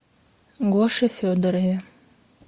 гоше федорове